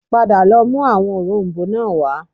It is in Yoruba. Padà lọ mú àwọn òrom̀bó náà wá